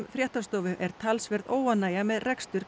fréttastofu er talsverð óánægja með rekstur